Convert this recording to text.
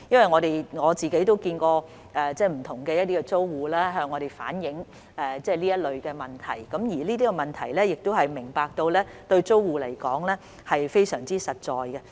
我曾親自接見不同的租戶，他們也有向我們反映這類問題，而我們明白這些問題對租戶來說是非常實在的。